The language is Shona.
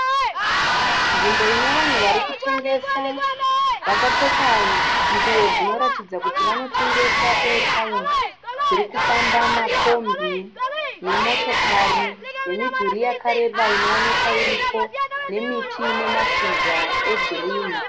Nzvimbo ine vanhu vari kutengesa vakapfeka nguwo dzinoratidza kuti vanotengesa eyataimu, dziri kufamba mumakombi, nemotokari nemidhuri yakareba inoonekwa iripo nemiti ine mashizha egirini.